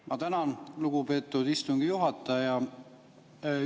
Ma tänan, lugupeetud istungi juhataja!